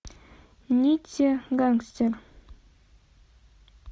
нитти гангстер